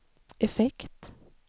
effekt